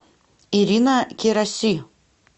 ирина кераси